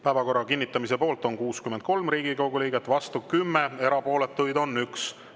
Päevakorra kinnitamise poolt on 63 Riigikogu liiget, vastu 10, erapooletuid on 1.